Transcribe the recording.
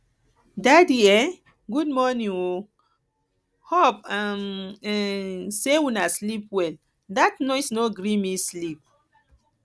daddy um good morning o hope um um sey una sleep well dat noise no gree me sleep